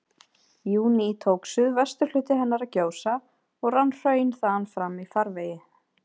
júní tók suðvesturhluti hennar að gjósa, og rann hraun þaðan fram í farvegi